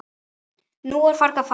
Nú er fargið farið.